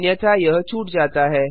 अन्यथा यह छूट जाता है